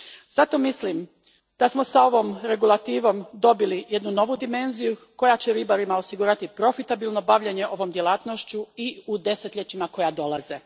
Zato mislim da smo s ovom regulativom dobili jednu novu dimezniju koja će ribarima osigurati profitabilno bavljenje ovom djelatnošću i u desetljećima koja dolaze.